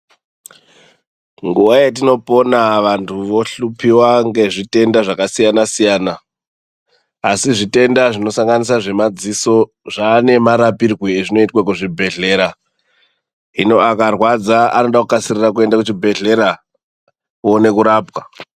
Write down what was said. Nguwa yatinopona vanthu vohlupiwa nezvitenda zvakasiyana siyana asi zvitenda zvinosanganisira zvemadziso zvaane marapirwe azvinoitwa kuzvibhedhlera hino akarwadza anode kukasirira kuenda kuchibhedhlera uone kurapwa.